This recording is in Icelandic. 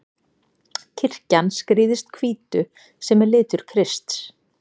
Kirkjan skrýðist hvítu, sem er litur Krists.